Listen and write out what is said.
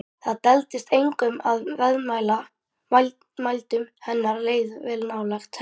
Það duldist engum að viðmælendum hennar leið vel nálægt henni.